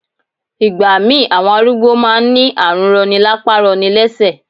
Ìgbà mí ì àwọn arúgbó má a n ní àrùn rọni lápá rọni lẹ́sẹ̀